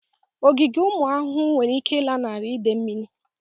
Ogige ụmụ ahụhụ nwere ike ịlanarị idè mmiri.